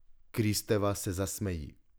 Kristeva se zasmeji.